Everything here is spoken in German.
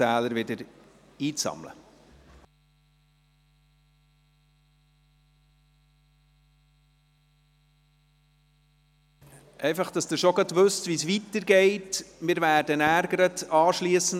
Anschliessend werden wir uns